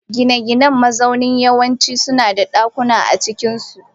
Gine-ginen mazaunin yawanci suna da dakuna a cikinsu.